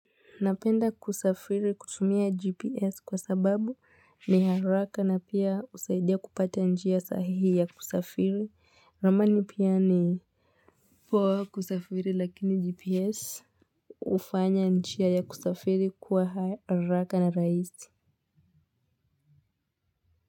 Napenda kusafiri kutumia GPS kwa sababu na haraka na pia husaidia kupata njia ya haraka ya kusafiri ramani pia ni poa kusafiri lakini GPS ufanya njia ya kusafiri kuwa haraka na raisi.